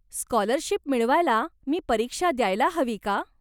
Scholarship मिळवायला मी परीक्षा द्यायला हवी का?